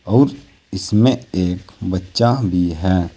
और इसमें एक बच्चा भी है।